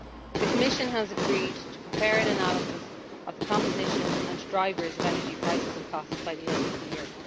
The Commission has agreed to prepare an analysis of the composition and drivers of energy prices and costs by the end of the year.